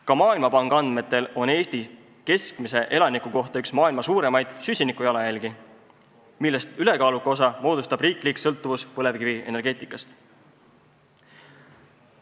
Ka Maailmapanga andmetel on Eestis keskmise elaniku kohta üks maailma suurimaid süsinikujalajälgi, millest ülekaaluka osa moodustab riiklik sõltuvus põlevkivienergeetikast.